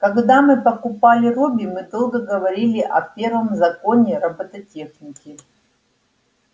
когда мы покупали робби мы долго говорили о первом законе робототехники